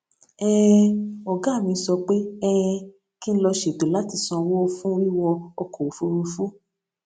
um ògá mi sọ pé um kí n lọ ṣètò láti sanwó fún wíwọ ọkò òfuurufú